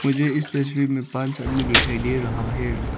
मुझे इस तस्वीर में पांच आदमी दिखाई दे रहा है।